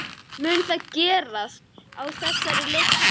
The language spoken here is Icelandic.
Mun það gerast á þessari leiktíð?